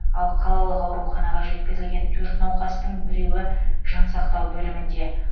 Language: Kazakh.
ал қалалық ауруханаға жеткізілген төрт науқастың біреуі жансақтау бөлімінде